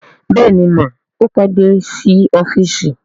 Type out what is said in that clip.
Bẹ́ẹ̀ni mà, ó pé dé sí ọ́fíìsì